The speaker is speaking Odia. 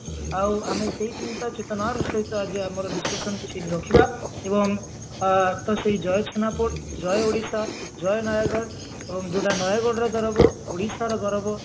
ଆଉ ଆମେ ସେଇ ଚିନ୍ତା ଚେତନାର ସହିତ ଆଜି ଆମର discussion କୁ ସେଇଠି ରଖିବା ଏବଂ ଆ ସେଇ ଜୟ ଛେନାପୋଡ ଯଉ ଓଡିଶା ଜୟ ନୟାଗଡ ଏବଂ ଯଉଟା ନୟାଗଡର ଗୌରବ ଓଡିଶାର ଗୌରବ